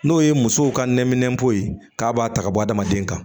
N'o ye musow ka nɛminɛn ko ye k'a b'a ta ka bɔ adamaden kan